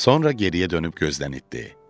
Sonra geriyə dönüb gözdən itdi.